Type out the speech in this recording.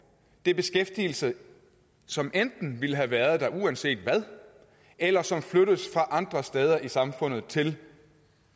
er beskæftigelse som enten ville have været der uanset hvad eller som flyttes fra andre steder i samfundet til